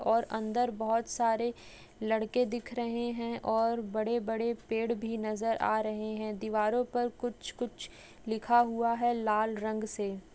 और अंदर बहुत सारे लड़के दिख रहे है और बड़े बेड पेड़ भी नजर आ रहे है दीवारों पर कुछ कुछ लिखा हुआ है लाल रंग से।